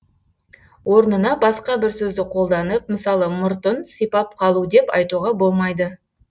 орнына басқа бір сөзді колданып мысалы мұртын сипап қалу деп айтуға болмайды